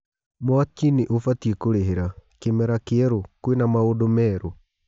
(Mwaki- nĩ ubatiĩ kũrĩ hĩ ra) Kĩ mera kĩ erũ, kwĩ na maũndũ merũ?